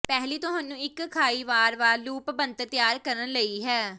ਪਹਿਲੀ ਤੁਹਾਨੂੰ ਇੱਕ ਖਾਈ ਵਾਰ ਵਾਰ ਲੂਪ ਬਣਤਰ ਤਿਆਰ ਕਰਨ ਲਈ ਹੈ